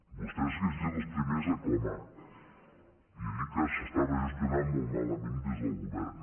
vostès haguessin sigut els primers a clamar i a dir que s’estava gestionant molt malament des del govern